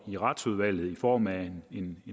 i retsudvalget i form af en